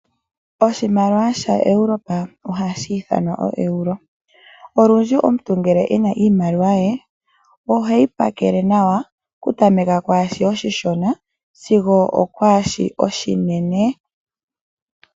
Oshimaliwa sha Europe ohashi thanwa o Euro. Olundji omuntu ngele ena iimaliwa ye oheyi pakele nawa okutameka kwaashi oshishona sigo okwashi oshinene.